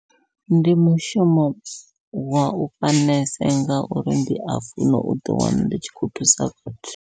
Ndi mushumo wa uvha nese ngauri ndi a funa u ḓi wana ndi tshi khou thusa vhathu.